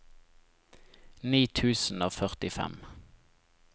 ni tusen og førtifem